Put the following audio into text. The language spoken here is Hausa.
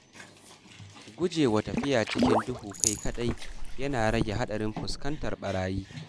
Gujewa tafiya a cikin duhu kai kaɗai yana rage haɗarin fuskantar barayi.